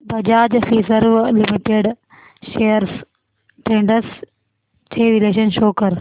Bajaj Finserv limited shares trends चे विश्लेषण show कर